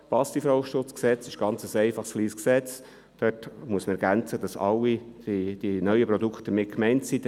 Das Bundesgesetz zum Schutz vor Passivrauchen ist ein einfaches, kleines Gesetz, welches dahingehend ergänzt werden muss, dass alle neuen Produkte abgedeckt werden.